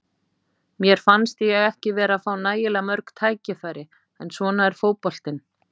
Mér fannst ég ekki vera að fá nægilega mörg tækifæri, en svona er fótboltinn.